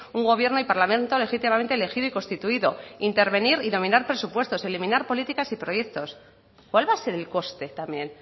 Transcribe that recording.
un gobierno y parlamento legítimamente elegido y constituido intervenir y dominar presupuestos eliminar políticas y proyectos cuál va a ser el coste también